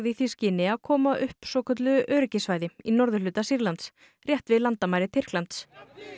í því skyni að koma upp svokölluðu öryggissvæði í norðurhluta Sýrlands rétt við landamæri Tyrklands